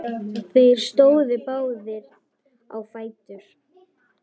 Þeir stóðu báðir á fætur.